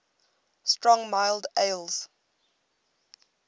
strong mild ales